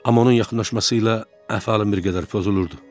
Amma onun yaxınlaşması ilə əhvalım bir qədər pozulurdu.